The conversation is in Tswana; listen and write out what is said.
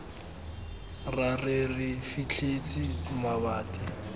ra re re fitlhetse mabati